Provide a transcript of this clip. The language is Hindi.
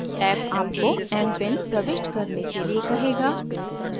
ऍप आपको mpin प्रविष्ट करने के लिए कहेगा